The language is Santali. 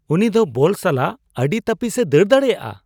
ᱩᱱᱤ ᱫᱚ ᱵᱚᱞ ᱥᱟᱞᱟᱜ ᱟᱹᱰᱤ ᱛᱟᱹᱯᱤᱥᱼᱮ ᱫᱟᱹᱲ ᱫᱟᱲᱮᱭᱟᱜᱼᱟ !